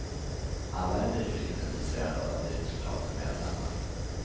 Alla är nyfiket intresserade av den nytillkomne medlemmen.